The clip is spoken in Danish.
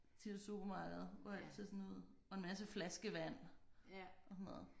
De der supermarkeder hvor alt ser sådan ud og en masse flaskevand og sådan noget